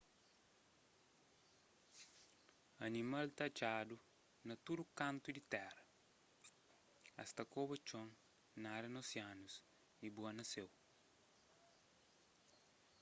animal ta atxadu na tudu kantu di tera es ta koba txon nada na osianus y bua na séu